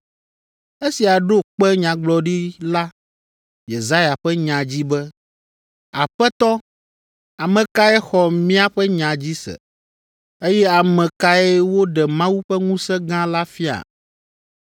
Esia ɖo kpe Nyagblɔɖila Yesaya ƒe nya dzi be, “Aƒetɔ, ame kae xɔ míaƒe nya dzi se? Eye ame kae woɖe Mawu ƒe ŋusẽ gã la fia?”